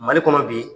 Mali kɔnɔ bi